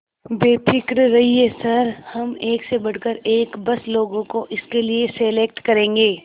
बेफिक्र रहिए सर हम एक से बढ़कर एक बस लोगों को इसके लिए सेलेक्ट करेंगे